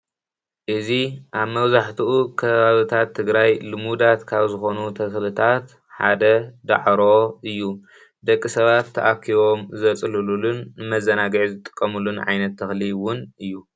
እዚ ኣብ መብዛሕትኡ ከባቢታት ትግራይ ልሙዳት ካብ ዝኾኑ ተኽእልታት ሓደ ዳዕሮ እዩ ደቂ ሰባት ተኣኪቦም ዘፅልሉሉን መዘናግዒ ዝጥቀሙሉን ዓይነት ተኽሊ እውን እዩ።